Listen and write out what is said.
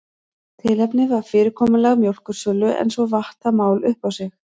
Tilefnið var fyrirkomulag mjólkursölu en svo vatt það mál upp á sig.